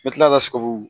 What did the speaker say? N bɛ tila ka siguru